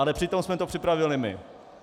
Ale přitom jsme to připravili my.